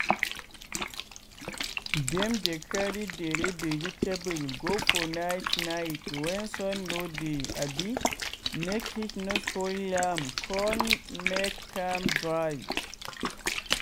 dem dey carry dere vegetable go for night night wey sun no dey abi make heat no spoil am con make am dry.